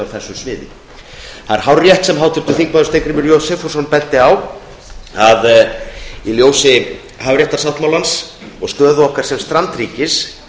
þessu sviði það er hárrétt sem háttvirtur þingmaður steingrímur j sigfússon benti á að í ljósi hafréttarsáttmálans og stöðu okkar sem strandríkis